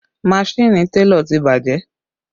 Maṣini télọ̀ ti bàjẹ́